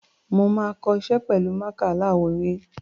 Mo máa kọ iṣẹ́ pẹ̀lú mákà aláwọ̀ ewé.